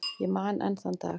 Ég man enn þann dag.